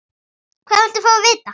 Hvað viltu fá að vita?